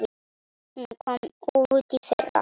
Hún kom út í fyrra.